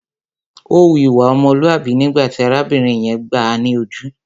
Ó hu ìwà ọmọlúàbí nígbà tí arábìnrin yẹn gbáà ni ojú.